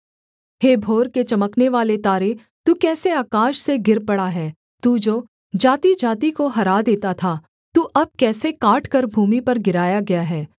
हे भोर के चमकनेवाले तारे तू कैसे आकाश से गिर पड़ा है तू जो जातिजाति को हरा देता था तू अब कैसे काटकर भूमि पर गिराया गया है